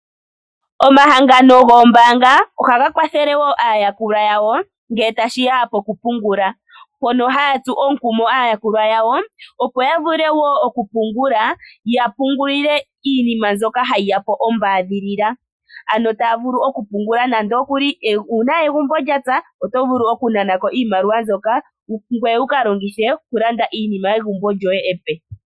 Omahangano goombaanga ohaga kwathele wo aayakulwa yawo ngele tashiya pokupungula. Mpono haya tsu omukumo aayakulwa yawo opo ya vule wo okupungula ya pungulile iinima mbyoka hayi yapo ombaadhilila ano taya vulu okupungula nando okuli uuna egumbo lya pyapo oto vulu oku nanako iimaliwa mbyoka ngoye wu kalongithe oku landa iinima yegumbo lyoye epe.